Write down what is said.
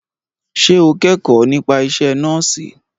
Ṣé o kẹ́kọ̀ọ́ nípa isẹ́ nọ́ọ̀sì?